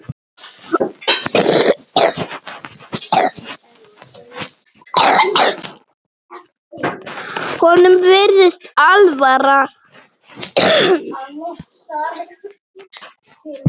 Honum virðist alvara.